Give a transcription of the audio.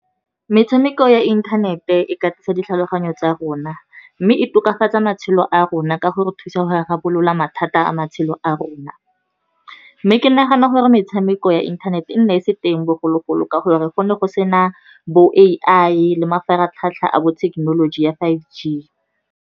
Metshameko ya inthanete e katisa ditlhaloganyo tsa rona, mme e tokafatsa matshelo a rona ka go re thusa go rarabolola mathata a matshelo a rona. Mme ke nagana gore metshameko ya inthanete e nna e se teng bogologolo ka gore re go ne go sena bo A_I le mafaratlhatlha a bo thekenoloji ya five G.